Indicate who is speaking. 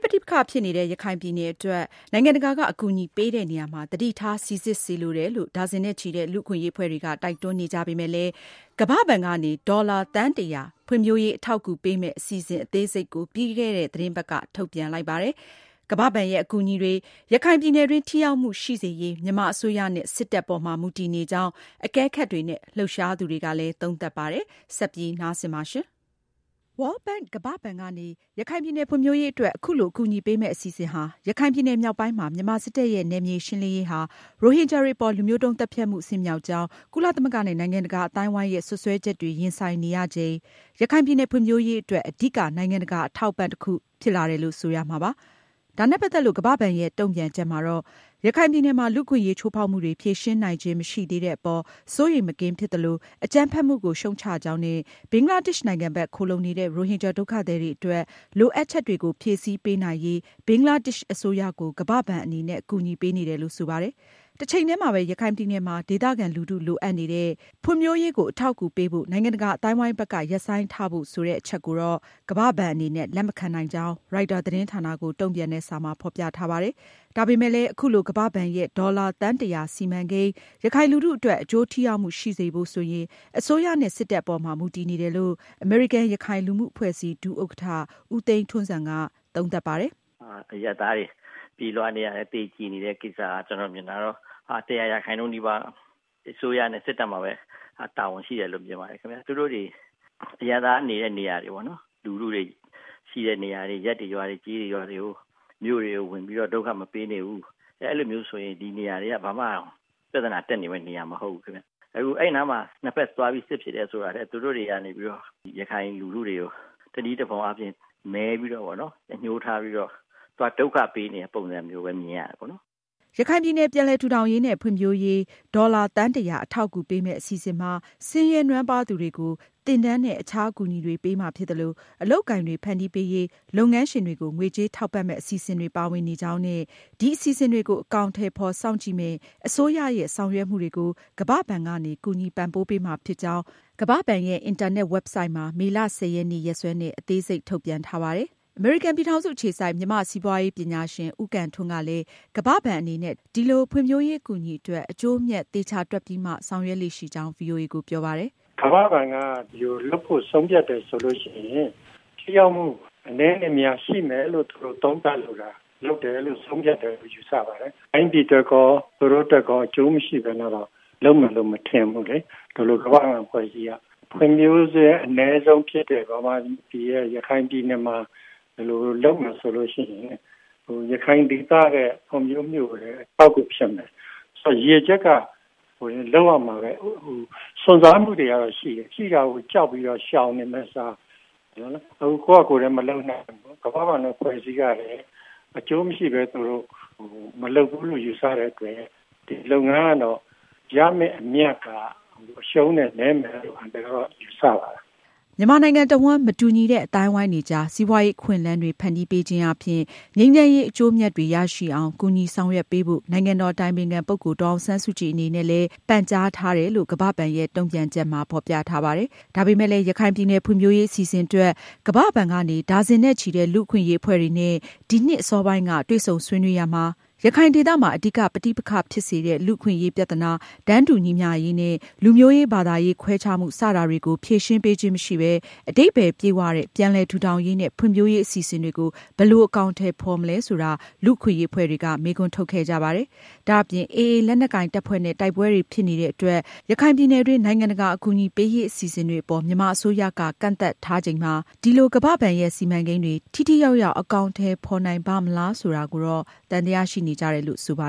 Speaker 1: ပဋိပက္ခဖြစ်နေတဲ့ ရခိုင်ပြည်နယ်အတွက် နိုင်ငံတကာက အကူအညီပေးတဲ့နေရာမှာ သတိထားစိစစ်စေလိုတယ်လို့ ဒါဇင်နဲ့ချီတဲ့ လူ့အခွင့်အရေးအဖွဲ့တွေက တိုက်တွန်းနေကြပေမဲ့လည်း ကမ္ဘာ့ဘဏ်ကနေ ဒေါ်လာ သန်း ဖွံဖြိုးရေး အထောက်အကူပေးမယ့် အစီအစဉ် အသေးစိတ် ကို ပြီးခဲ့တဲ့ သတင်းပတ်က ထုတ်ပြန်လိုက်ပါတယ်။ ကမ္ဘာ့ဘဏ်ရဲ့ အကူအညီတွေ ရခိုင်ပြည်နယ်တွင်း ထိရောက်မှုရှိစေရေး မြန်မာအစိုးရနဲ့ စစ်တပ်အပေါ်မှာ မူတည်နေကြောင်း အကဲခပ်တွေနဲ့ လှုပ်ရှားသူတွေက သုံးသပ်ပါတယ်။ မအင်ကြင်းနိုင်က ဆက်လက်တင်ပြမှာပါ။ World Bank ကမ္ဘာ့ဘဏ် ကနေ ရခိုင်ပြည်နယ်ဖွံဖြိုးရေးအတွက် အခုလို အကူအညီပေးမယ့် အစီအစဉ်ဟာ ရခိုင်ပြည်နယ် မြောက်ပိုင်းမှာ မြန်မာစစ်တပ်ရဲ့ နယ်မြေရှင်းလင်းရေးဟာ ရိုဟင်ဂျာတွေအပေါ် လူမျိုးတုန်းသတ်ဖြတ်မှုအဆင့်မြောက်ကြောင်း ကုလသမဂ္ဂနဲ့ နိုင်ငံတကာအသိုင်းအဝိုင်းရဲ့ စွပ်စွဲချက်တွေ ရင်ဆိုင်နေရချိန် ရခိုင်ပြည်နယ်ဖွံဖြိုးရေးအတွက် အဓိက နိုင်ငံတကာ အထောက်အပံ့တခု ဖြစ်လာတယ်လို့ ဆိုရမှာပါ။ ဒါနဲ့ ပတ်သက်လို့ ကမ္ဘာ့ဘဏ်ရဲ့ တုန့်ပြန်ချက်မှာတော့ ရခိုင်ပြည်နယ်မှာ လူ့အခွင့်အရေး ချိုးဖောက်မှုတွေ ဖြေရှင်းနိုင်ခြင်းမရှိသေးတဲ့အပေါ် စိုးရိမ်မကင်းဖြစ်သလို၊ အကြမ်းဖက်မှုကို ရှုတ်ချကြောင်းနဲ့ ဘင်္ဂလားဒေ့ရှ်နိုင်ငံဘက် ခိုလှုံနေတဲ့ ရိုဟင်ဂျာဒုက္ခသည်တွေအတွက် လိုအပ်ချက်တွေကို ဖြည့်ဆည်းပေးနိုင်ရေး ဘင်္ဂလားဒေ့ရှ်အစိုးရကို ကမ္ဘာ့ဘဏ်အနေနဲ့ အကူအညီ ပေးနေတယ်လို့ ဆိုပါတယ်။ တချိန်တည်းမှာပဲ ရခိုင်ပြည်နယ်မှာ ဒေသခံလူထု လိုအပ်နေတဲ့ ဖွံဖြိုးရေးကို အထောက်အကူပေးဖို့ နိုင်ငံတကာအသိုင်းအဝိုင်းဘက်က ရပ်ဆိုင်း ထားဖို့ ဆိုတဲ့အချက်ကို ကမ္ဘာ့ဘဏ်အနေနဲ့ လက်မခံကြောင်း ရိုက်တာသတင်းဌာနကို တုန့်ပြန်တဲ့ စာမှာ ဖေါ်ပြထားပါတယ်။ ဒါပေမဲ့လည်း အခုလို ကမ္ဘာဘဏ်ရဲ့ ဒေါ်လာ သန်း ၁၀၀ စီမံကိန်း ရခိုင်လူထုအတွက် အကျိူးထိရောက်မှု ရှိစေဖို့ အစိုးရနဲ့ စစ်တပ်အပေါ်မှာ မူတည်နေတယ်လို့ အမေရိကန်-ရခိုင် လူမှုအဖွဲ့အစည်း ဒုတိယဥက္ကဌ ဦးသိန်းထွန်းဇံက အခုလိုသုံးသပ်ပါတယ်
Speaker 2: ။ “အရပ်သားတွေ ပြေးလွှားနေရတယ် သေကျေနေတဲ့ ကိစ္စတွေက ကျနော်မြင်တာကတော့ ၁၀၀ ရာခိုင်နှုန်းနီးပါးအစိုးရနဲ့ စစ်တပ်မှာပဲ တာဝန်ရှိတယ်လို့ မြင်ပါတယ်။ သူတို့တွေ အရပ်သားတွေနေတဲ့နေရာတွေပေါ့နော် ၊ လူထုတွေ ရှိတဲ့နေရာတွေ ရပ်ရွာတွေ ကျေးရွာတွေမှာ ဝင်ပြီးတော့ ဒုက္ခမပေးနေဘူး အဲလိုမျိုးဆိုရင် ဒီနေရာတွေက ဘာမှ ပြဿနာတက် နေမယ့်နေရာတွေမဟုတ်ဘူးခင်ဗျ။ အခု အဲဒီနားမှာ ၂ ဘက်သွားပြီးတော့ စစ်ဖြစ်တယ်ဆိုတာထက် သူတို့တွေကနေ ရခိုင်လူထုတွေက တနည်းတဖုံအားဖြင့် ရည်ရွယ်ပြီးတော့ အညိုးထားပြီးတော့ ဒုက္ခပေးနေတဲ့ ပုံစံမျိုးမြင်နေရတယ်ပေါ့နော် ။”
Speaker 1: ရခိုင်ပြည်နယ် ပြန်လည်ထူထောင်ရေးနဲ့ ဖွံဖြိုးရေး ဒေါ်လာ သန်း အထောက်အကူပေးမယ့်အစီအစဉ်မှာ ဆင်းရဲနွမ်းပါးသူတွေကို သင်တန်းနဲ့ အခြားအကူအညီတွေ ပေးမှာဖြစ်သလို၊ အလုပ်အကိုင်တွေ ဖန်တီးပေးရေး လုပ်ငန်းရှင်တွေကို ငွေကြေးထောက်ပံ့မယ့် အစီအစဉ်တွေပါဝင်ကြောင်းနဲ့ ဒီအစီအစဉ်တွေကို အကောင်အထည်ဖေါ် စောင့်ကြည့်မယ့် အစိုးရရဲ့ ဆောင်ရွက်မှုတွေကို ကမ္ဘာ့ဘဏ်ကနေ ကူညီပံ့ပိုးမှာဖြစ်ကြောင်း ကမ္ဘာ့ဘဏ်ရဲ့ အင်တာနက် ဝက်ဘ်ဆိုဒ်မှာ မေလ ရက်နေ့ ရက်စွဲနဲ့ အသေးစိတ် ထုတ်ပြန်ထားပါတယ်။ အမေရိကန်ပြည်ထောင်စုအခြေစိုက် မြန်မာ့စီးပွားရေးပညာရှင် ဦးကံထွန်းကလည်း ကမ္ဘာ့ဘဏ် အနေနဲ့ ဒီလိုဖွံဖြိုးရေးအကူအညီအတွက် အကျိုးအမြတ်သေချာတွက်ပြီးမှ ဆောင်ရွက်လေ့ရှိကြောင်း ဗွီအိုအေကို ပြောပါတယ်
Speaker 3: ။ “ကမ္ဘာ့ဘဏ်က ဒီလိုလုပ်ဖို့ ဆုံးဖြတ်တယ်ဆိုရင် ထိရောက်မှု အနည်းနဲ့အများရှိမယ်လို့ သူတို့ သုံးသပ်လို့ ဒီလိုလုပ်တယ်လို့ ဆုံးဖြတ်တယ်လို့ ယူဆပါတယ်။ တိုင်းပြည်အတွက်ရော သူတို့အတွက်ရော အကျိုးမရှိပဲနဲ့တော့ လုပ်မယ်လို့မထင်ဘူးလေ ဒီလိုအဖွဲ့အစည်းကြီးက။ ဖွံ့ဖြိုးဆဲအနည်းဆုံးဖြစ်တဲ့ မြန်မာပြည်ရဲ့ ရခိုင်ပြည်နယ်မှာ ဒီလိုလုပ်မယ်ဆိုရင် ရခိုင်ဒေသရဲ့ ဖွံ့ဖြိုးမှုကိုလည်း အထောက်အကူဖြစ်မယ်။ ရည်ရွယ်ချက်ကလည်း လုပ်ရမှာပဲ စွန့်စားမှုတွေကတော့ ရှိတယ်၊ ရှိတာကို ကြောက်ပြီးတော့ ရှောင်နေမယ့်အစား ကိုယ့်ဟာကိုယ်လည်းမလုပ်နိုင်ဘူး ကမ္ဘာဘဏ်လိုအဖွဲ့အစည်းကလည်း အကျိုးမရှိဘဲ မလုပ်ဘူးလို့ ယူဆတဲ့အတွက် ဒီလုပ်ငန်းကတော့ ရမယ့်အမြတ်က အရှုံးနည်းမယ်လို့ အန်ကယ်ကတော့ ယူဆပါတယ်။”
Speaker 1: မြန်မာနိုင်ငံတဝန်း မတူညီတဲ့ အသိုင်းအဝိုင်းတွေကြား စီးပွားရေးအခွင့်အလမ်းတွေ ဖန်တီးပေးခြင်းအားဖြင့် ငြိမ်းချမ်းရေး အကျိူးအမြတ်တွေရရှိအောင် ကူညီဆောင်ရွက်ပေးဖို့ နိုင်ငံတော်အတိုင်ပင်ခံပုဂ္ဂိုလ် ဒေါ်အောင်ဆန်းစုကြည်အနေနဲ့ ပန်ကြားထားတယ်လို့ ကမ္ဘာ့ဘဏ်ရဲ့ တုန့်ပြန်ချက်မှာ ဖေါ်ပြထားပါတယ်။ ဒါပေမဲ့လည်း ရခိုင်ပြည်နယ်ဖွံဖြိုးရေးအစီအစဉ်အတွက် ကမ္ဘာ့ဘဏ်ကနေ ဒါဇင်နဲ့ချီတဲ့ လူ့အခွင့်အရေးအဖွဲ့တွေနဲ့ ဒီနှစ် အစောပိုင်းက တွေ့ဆုံဆွေးနွေးရာမှာ- ရခိုင်ဒေသမှာ အဓိက ပဋိပက္ခဖြစ်စေတဲ့ လူ့အခွင့်အရေးပြဿနာ၊ တန်းတူညီမျှရေးနဲ့ လူမျိုးရေး၊ ဘာသာရေးခွဲခြားမှု စတာတွေကို ဖြေရှင်းပေးခြင်းမရှိပဲ အဓိပ္ပါယ် ပြည့်ဝတဲ့ ပြန်လည်ထူထောင်ရေးနဲ့ ဖွံဖြိုးရေးအစီအစဉ်တွေကို ဘယ်လို အကောင်အထည်ဖေါ်မလဲဆိုတာ လူ့အခွင့်အရေးအဖွဲ့တွေက မေးခွန်းထုတ်ခဲ့ကြပါတယ်။ ဒါအပြင် AA ရခိုင်လက်နက်ကိုင်တပ်ဖွဲ့နဲ့ တိုက်ပွဲတွေဖြစ်နေတဲ့အတွက် ရခိုင်ပြည်နယ်တွင်း နိုင်ငံတကာ အကူအညီပေးရေးအစီအစဉ်တွေအပေါ် မြန်မာအစိုးရက ကန့်သတ်ထားချိန်မှာ ဒီလို ကမ္ဘာဘဏ်ရဲ့ စီမံကန်းတွေ ထိထိရောက်ရောက် အကောင်အထည်ဖေါ်နိုင်ပါ့မလားဆိုတာကိုလည်း သံသယရှိနေကြတယ်လို့ ဆိုပါ